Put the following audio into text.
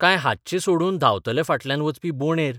काय हातचें सोडून धांवतल्या फाटल्यान वचपी बोंडेर?